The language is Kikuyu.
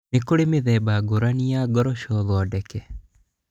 Nĩ kũrĩ mĩthemba ngũrani ya ngoroco thondeke